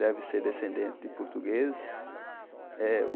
Deve ser descendente de portugueses. eh